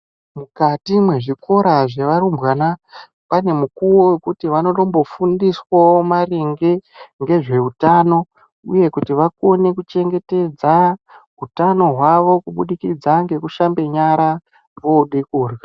Mukati nezvikora zvevarumbwana pane mukuwo wekuti vanombofundiswawo maringe nezveutano uye kuti vakone kuchengetedza utano hwavo kubudikidza nekushambe nyara vode kurya.